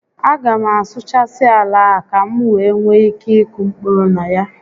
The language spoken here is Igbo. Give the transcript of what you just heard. A ga m asuụchasị ala a ka m wee nwee ike ịkụ mkpụrụ na ya